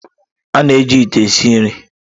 A na-eji ite esi nri.